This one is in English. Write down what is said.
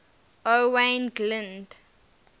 owain glynd